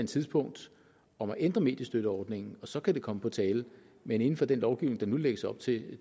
tidspunkt om at ændre mediestøtteordningen så kan det komme på tale men inden for den lovgivning der nu lægges op til